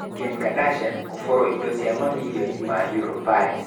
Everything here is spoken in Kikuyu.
Kim Kardashian kũborwo indo cia mamirioni ma euro ,Paris.